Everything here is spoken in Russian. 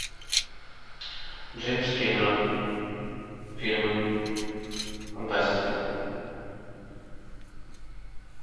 джеймс кэмерон фильмы фантастика